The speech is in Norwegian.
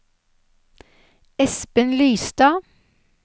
Espen Lystad